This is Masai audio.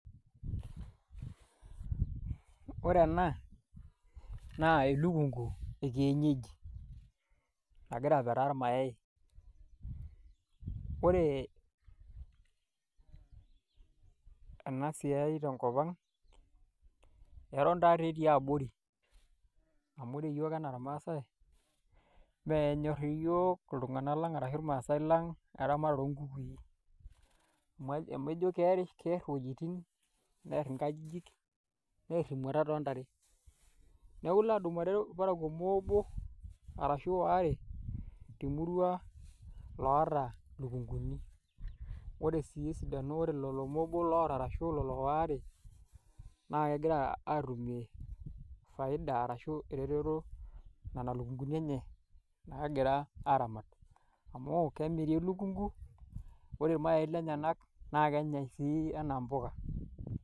Ore ena naa elikung'uu e kienyejii egira apetaa lmaayai. Ore ana siai te nkopang etoon taake etii aborii amuu yoo tana lmaasai mee nyoor yoo ltung'ana laang arashu maasai laang eramaat enkukui. Meijoo keaar wuejitin neear nkaajijin neer muurat ontaare. Naaku eloo adumoore elpaarako moo oboo arashu aware to murua loota elkung'uuni .Ore sii ena ore lelo muubua lootarasuu lolo aare naa kegiraa atumii faida arashu rero leraa lkunyenye agira aramaat amu kamirii elkung'uu ore baayi elmaayai enyayak naa enyai sii ana mbuuka.